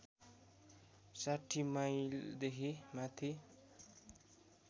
६० माइलदेखि माथि